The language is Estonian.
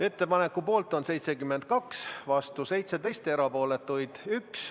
Ettepaneku poolt on 72, vastu 17, erapooletuid 1.